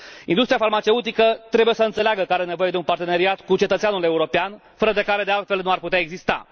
Industria farmaceutică trebuie să înțeleagă că are nevoie de un parteneriat cu cetățeanul european, fără de care, de altfel, nu ar putea exista.